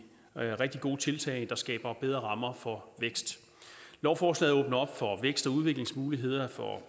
rigtig gode tiltag der skaber bedre rammer for vækst lovforslaget åbner op for vækst og udviklingsmuligheder for